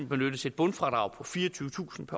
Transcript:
benyttes et bundfradrag på fireogtyvetusind